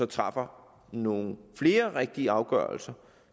træffer nogle flere rigtige afgørelser